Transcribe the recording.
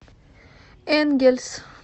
энгельс